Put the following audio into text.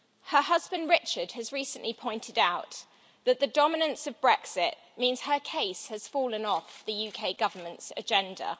Her husband, Richard, has recently pointed out that the dominance of Brexit means her case has fallen off the UK Government's agenda.